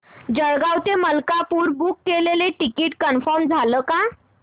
जळगाव ते मलकापुर बुक केलेलं ticket confirm झालं का